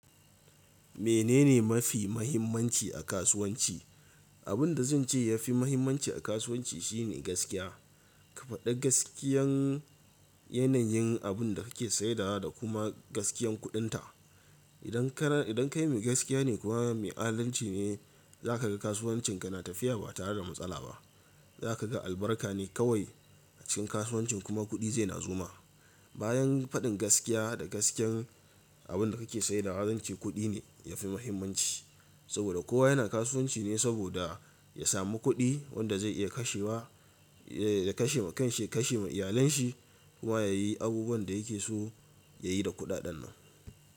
Menene mafi mahimmanci a kasuwanci? Abin da zan ce ya fi mahimmanci a kasuwanci shine gaskiya. Ka faɗi gaskiyan yanayin abin da kake sai dawa da kuma gaskiyan kuɗin ta. Idan ka, idan kai mai gaskiya ne kuma mai adalci ne, za ka ga kasuwancin ka na tafiya ba tare da matsala ba. Za ka ga albarka ne kawai a cikin kasuwancin kuma kuɗi zai na zuwa. Bayan faɗin gaskiya da gaskiyan abin da kake saidawa da zan ce kuɗi ne ya fi muhimmanci. Saboda kowa yana kasuwanci ne saboda ya sami kuɗi wanda zai iya kashe wa, ya kashe ma kanshi, kashe ma iyalen shi kuma ya yi abubuwan da yake so ya yi da kuɗaɗen nan.